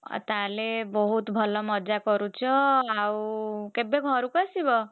ଆଉ ତାହେଲେ ବହୁତ୍ ଭଲ ମଜା କରୁଛ, ଆଉ କେବେ ଘରକୁ ଆସିବ?